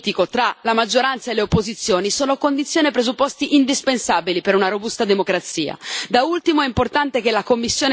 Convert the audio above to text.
Questi, insieme a un sano dialogo politico tra la maggioranza e le opposizioni, sono condizione e presupposti indispensabili per una robusta democrazia.